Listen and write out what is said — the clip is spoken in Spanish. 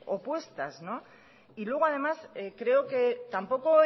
opuestas y luego además creo que tampoco